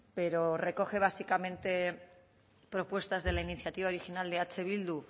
pero recoge básicamente propuestas de la iniciativa original de eh bildu